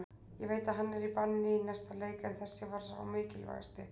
Ég veit að hann er í banni í næsta leik en þessi var sá mikilvægasti.